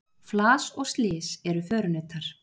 Flas og slys eru förunautar.